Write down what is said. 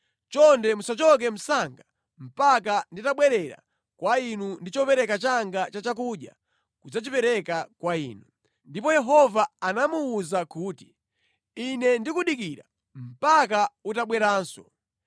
Chonde musachoke msanga mpaka nditabwerera kwa inu ndi chopereka changa cha chakudya kudzachipereka kwa inu.” Ndipo Yehova anamuwuza kuti, “Ine ndikudikira mpaka utabweranso.”